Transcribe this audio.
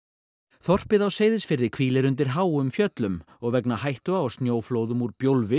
þorpið á Seyðisfirði hvílir undir háum fjöllum og vegna hættu á snjóflóðum úr